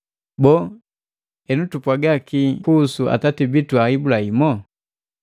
Boo, henu tupwaga kike kuhusu atati bitu Ibulahimu?